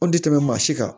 O tɛ tɛmɛ maa si kan